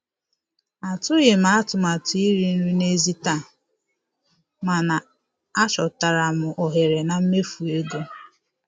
Atụghị m atụmatụ iri nri n'èzí taa, mana achọtara m ohere na mmefu ego.